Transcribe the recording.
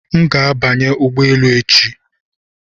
M ga-abanye ụgbọ elu echi